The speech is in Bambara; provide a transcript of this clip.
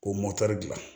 K'o dilan